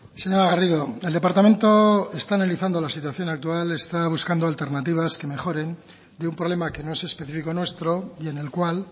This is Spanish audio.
señora garrido el departamento está analizando la situación actual está buscando alternativas que mejoren de un problema que no es específico nuestro y en el cual